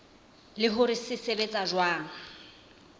le hore se sebetsa jwang